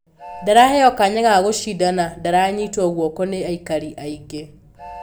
Ndaraheyo kanya ga-gũcinda na ndaranyitwo guoko ni aikari aingĩ.